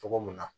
Cogo mun na